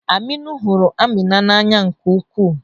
Aminu hụrụ Amina n'anya nke ukwuu.